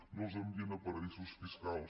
no els envien a paradisos fiscals